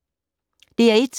DR1